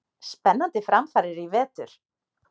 Spennandi framfarir í vetur!!